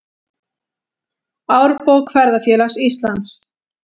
Árbók Ferðafélags Íslands.